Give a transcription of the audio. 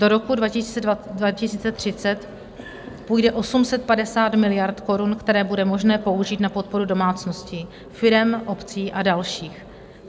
Do roku 2030 půjde 850 miliard korun, které bude možné použít na podporu domácností, firem, obcí a dalších.